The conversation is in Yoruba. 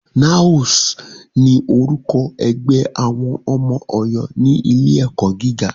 NAOS ni orúkọ ẹgbẹ́ àwọn ọmọ Ọ̀yọ́ ní ilé ẹ̀kọ́ gíga.